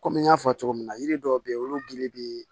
Komi n y'a fɔ cogo min na yiri dɔw bɛ yen olu gili bɛ